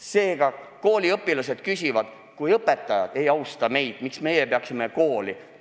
Seega, kooliõpilased küsivad, et kui õpetajad ei austa meid, siis miks meie peaksime kooli austama.